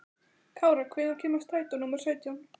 Kára, hvenær kemur strætó númer sautján?